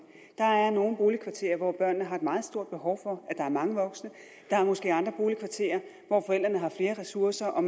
der er nogle boligkvarterer hvor børnene har et meget stort behov for at der er mange voksne der er måske andre boligkvarterer hvor forældrene har flere ressourcer og